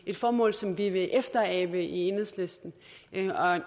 et formål som vi vil efterabe i enhedslisten